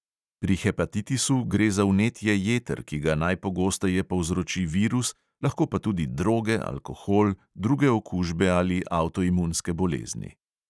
Pri hepatitisu gre za vnetje jeter, ki ga najpogosteje povzroči virus, lahko pa tudi droge, alkohol, druge okužbe ali avtoimunske bolezni.